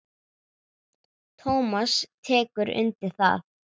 Tómas tekur undir það.